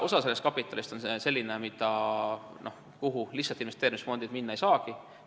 Osa sellest kapitalist on selline, millele investeerimisfondid lihtsalt ligi minna ei saagi.